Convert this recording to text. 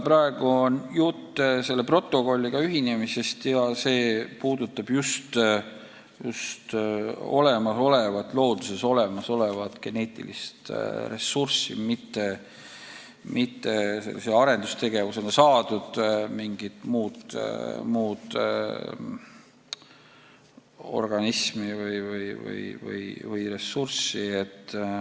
Praegu on jutt protokolliga ühinemisest ja see puudutab looduses olemasolevat geneetilist ressurssi, mitte arendustegevuse tulemusel saadud organisme või ressurssi.